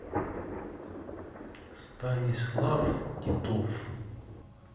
станислав титов